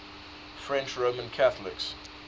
french roman catholics